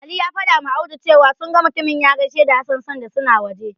Ali ya fadawa Audu cewa, sun ga mutumin ya gaishe da Hassan sanda suna waje.